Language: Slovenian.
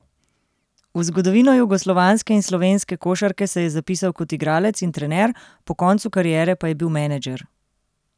V zgodovino jugoslovanske in slovenske košarke se je zapisal kot igralec in trener, po koncu kariere pa je bil menedžer.